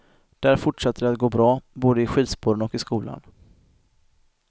Där fortsatte det att gå bra, både i skidspåren och i skolan.